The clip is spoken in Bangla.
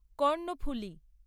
কর্ণফুলী